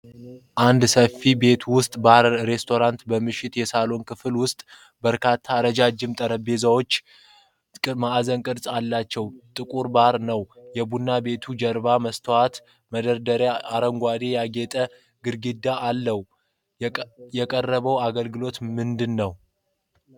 አንድ ሰፊ የቤት ውስጥ ባርና ሬስቶራንት በምሽት የሳሎን ክፍል ውስጥ በርካታ ረጅም ጠረጴዛዎች እና አራት ማዕዘን ቅርፅ ያለው ጥቁር ባር አለው። የቡና ቤቱ ጀርባ የመስታወት መደርደሪያዎችና አረንጓዴ የጌጣጌጥ ግድግዳ አለው። የቀረበው አገልግሎት ምንድን ነው?